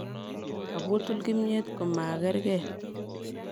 Kobutul kimnyet ko magerge.